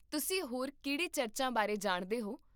ਤੁਸੀਂ ਹੋਰ ਕਿਹੜੇ ਚਰਚਾਂ ਬਾਰੇ ਜਾਣਦੇ ਹੋ?